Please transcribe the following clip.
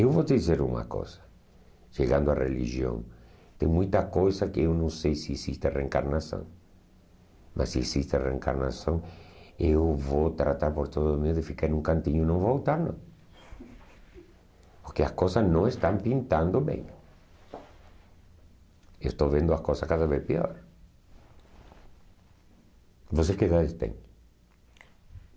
eu vou te dizer uma coisa chegando a religião tem muita coisa que eu não sei se existe a reencarnação mas se existe a reencarnação eu vou tratar por todo o meu de ficar em um cantinho e não voltar não porque as coisas não estão pintando bem eu estou vendo as coisas cada vez pior você que idade tem?